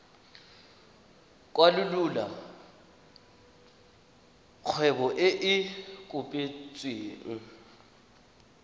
kwalolola kgwebo e e kopetsweng